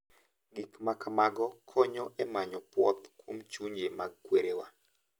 Gik ma kamago konyo e manyo puoth kuom chunje mag kwerewa.